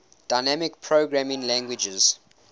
dynamic programming languages